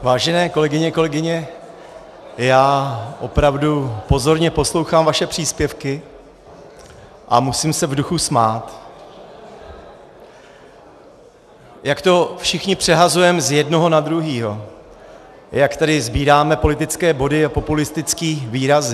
Vážené kolegyně, kolegové, já opravdu pozorně poslouchám vaše příspěvky a musím se v duchu smát, jak to všichni přehazujeme z jednoho na druhého, jak tady sbíráme politické body a populistické výrazy.